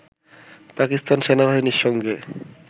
পাকিস্তান সেনাবাহিনীর সঙ্গে